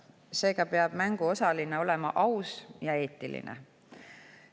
Seega peab mängus osaleja olema aus ja eetiline.